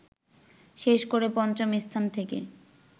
শেষ করে পঞ্চম স্থানে থেকে